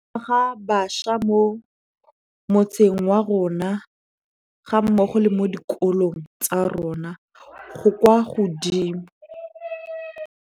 Ga bašwa mo motseng wa rona, ga mmogo le mo dikolong tsa rona, go kwa godimo.